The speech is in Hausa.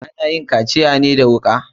Ana yin kaciya ne da wuka.